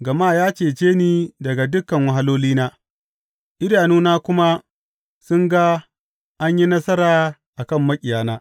Gama ya cece ni daga dukan wahalolina, idanuna kuma sun ga an yi nasara a kan maƙiyana.